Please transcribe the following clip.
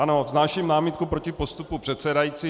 Ano, vznáším námitku proti postupu předsedající.